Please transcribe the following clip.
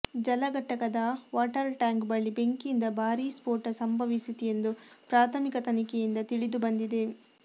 ಜಲಘಟಕದ water tank ಬಳಿ ಬೆಂಕಿಯಿಂದ ಭಾರೀ ಸ್ಫೋಟ ಸಂಭವಿಸಿತು ಎಂದು ಪ್ರಾಥಮಿಕ ತನಿಖೆಯಿಂದ ತಿಳಿದುಬಂದಿದೆ